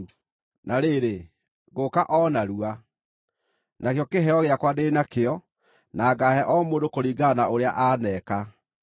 “Na rĩrĩ, ngũũka o narua! Nakĩo kĩheo gĩakwa ndĩ nakĩo, na ngaahe o mũndũ kũringana na ũrĩa aneeka.